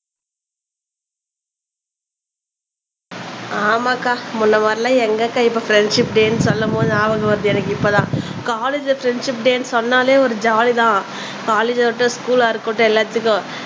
ஆமாக்கா முன்ன மாதிரில்லாம் எங்க அக்கா இப்ப ஃப்ரண்ட்ஷிப் டே என்று சொல்லும் போது ஞாபகம் வருது எனக்கு இப்பதான் காலேஜ்லல ஃப்ரெண்ட்ஷிப் டேன்னு சொன்னாலே ஒரு ஜாலிதான் காலேஜா இருக்கட்டும் ஸ்கூல்லா இருக்கட்டும் எல்லாத்துக்கும்